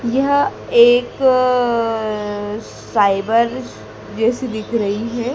यह एक साइबर जैसा दिख रही है।